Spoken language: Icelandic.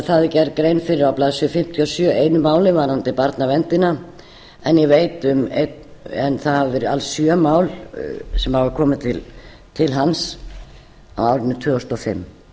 það er gerð grein fyrir á blaðsíðu fimmtíu og sjö einu máli varðandi barnaverndina en ég veit um einn en það eru alls sjö mál sem hafa komið til hans á árinu tvö þúsund og fimm